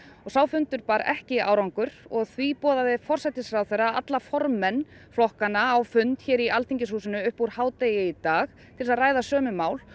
sá fundur bar ekki árangur og því boðaði forsætisráðherra alla formenn flokkanna á fund hér í Alþingishúsinu upp úr hádegi í dag til þess að ræða sömu mál